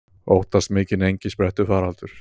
Óttast mikinn engisprettufaraldur